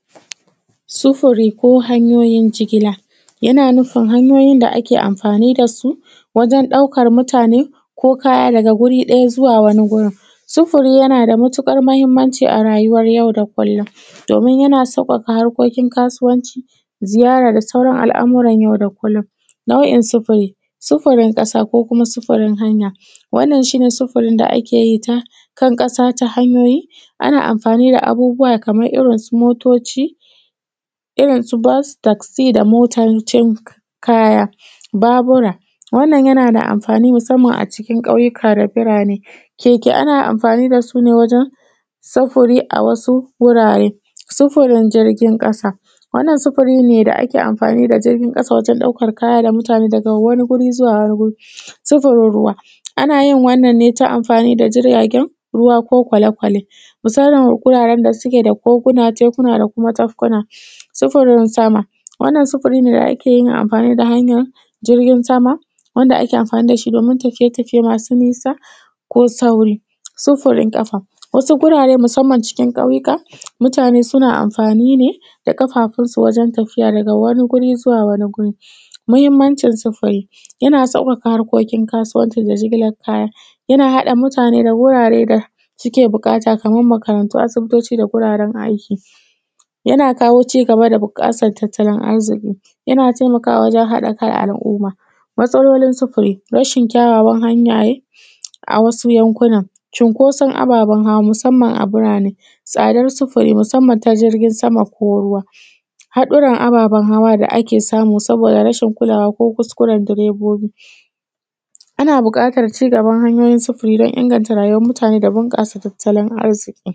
Sufuri ko hanyoyin jigila yana nufin hanyoyin da ake amfani da su wajen ɗaukan mutane ko kaya daga wuri ɗaya zuwa wani wurin, sufiri yana da matuƙar mahinmaci a rayuwar yau da kullum kuma yana sauƙaƙa hanyoyin kasuwanci ziyrar sauran al’amurar yau da kullum. Nau’in sufuri, sufuri ƙasa ko kuma sufirin hanya wannnan shi ne sifirin da ake yi kan ƙasa ko kuma hanya ana amfani da abubbuwa kaman irin su moto irin su bo,s takzi da motocin kaya, babura wannan yana da amfani musamman a wurin ƙauyuka da birane, keke ana amfani da su don sififri a wani wurare. Sifurin jirgin ƙasa, wannan sifiri ne da ake amfani da jirgin ƙasa wajen ɗaukan kaya da mutane daga wani wuri zuwa wani wuri, sufurin ruwa ana amfani da jiragen ruwa ko kwale-kwale musamman wuraren da suke da koguna, teguna da kuma tafkuna. Sufurin sama, wannan sufuri ne da ake yin amfani da jirgin sama wanda ake amfani da shi domin tafiye-tafiye masu nisa ko sauri, sufurin ƙafa wasu wurare musamman cikin ƙauyuka mutane suna amfani ne da ƙafafunsu wajen tafiya daga wani wuri zuwa wani wuri, muhinmancin sufufri yana sauƙaƙa hanyoyin kasuwanci da jigilan kaya, yana haɗa mutane da wurare da ake buƙata kaman makarantu, asibiti da wuraren aiki yana kawo cigaba da bunƙasan tattalin arziki, yana taimakawa wajen haɗa kan al’umma. Matsalolin sufuri, rashin gyarawan hanyoyin a wasu hanyunan, cunkosan ababen hawa musammman a burane, tsadar sufuri musamman ta jirgin sama ko ruwa. Haɗuran ababen hawa da ake samu saboda rashin kulawa ko kuskuren durebobi, ana buƙatan cigaban hanyoyin sufuri don inganta rayuwan mutane da bunƙasa tattalin arziki.